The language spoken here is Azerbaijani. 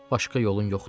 Başqa yolun yoxdur.